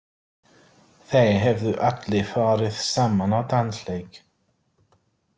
Þeir hefðu allir farið saman á dansleik.